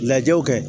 Lajɛw kɛ